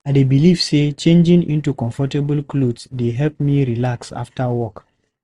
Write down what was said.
I dey believe say changing into comfortable clothes dey help me relax after work.